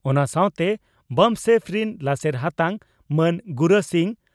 ᱚᱱᱟ ᱥᱟᱣᱛᱮ ᱵᱟᱢᱥᱮᱯᱷ ᱨᱤᱱ ᱞᱟᱥᱮᱨ ᱦᱟᱛᱟᱝ ᱢᱟᱱ ᱜᱩᱨᱟ ᱥᱤᱝ